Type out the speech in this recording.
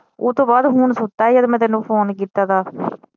ਓਤੋਂ ਬਾਅਦ ਹੁਣ ਸੁੱਤਾ ਈ ਜਦੋ ਮੈ ਤੈਨੂੰ ਫੋਨ ਕੀਤਾ ਦਾ